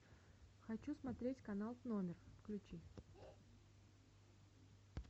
хочу смотреть канал номер включи